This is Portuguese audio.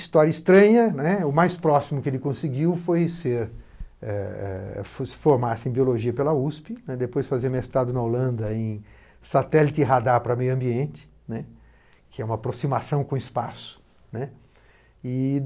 História estranha, né o mais próximo que ele conseguiu foi ser eh eh formar-se em Biologia pela USP, depois fazer mestrado na Holanda em Satélite e Radar para o Meio Ambiente, né, que é uma aproximação com o espaço, né. E